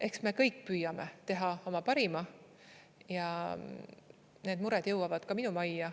Eks me kõik püüame teha oma parima ja need mured jõuavad ka minu majja.